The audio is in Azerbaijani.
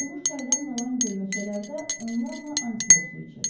Qurumuş çaydan qalan gölməçələrdə onlarla antilop su içirdi.